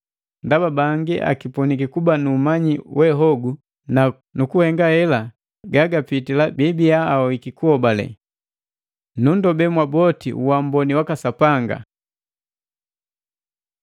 Ndaba bangi akipuniki kuba nu umanyi we hogu, na kukuhenga hela gagapitila biibiya ahoiki kuhobale. Nunndobe mwaboti uamboni waka Sapanga!